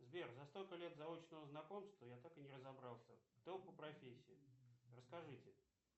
сбер за столько лет заочного знакомства я так и не разобрался кто вы по профессии расскажите